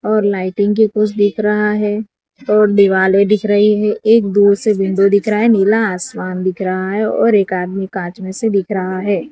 और लाइटिंग की कुछ दिख रहा है और दिवाले दिख रही है एक दूर से विंडो दिख रहा है नीला आसमान दिख रहा है और एक आदमी कांच में से दिख रहा है।